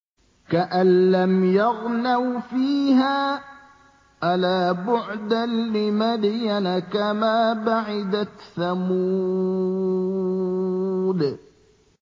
كَأَن لَّمْ يَغْنَوْا فِيهَا ۗ أَلَا بُعْدًا لِّمَدْيَنَ كَمَا بَعِدَتْ ثَمُودُ